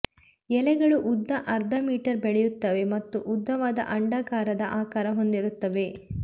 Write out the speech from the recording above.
ಎಲೆಗಳು ಉದ್ದ ಅರ್ಧ ಮೀಟರ್ ಬೆಳೆಯುತ್ತವೆ ಮತ್ತು ಉದ್ದವಾದ ಅಂಡಾಕಾರದ ಆಕಾರ ಹೊಂದಿರುತ್ತವೆ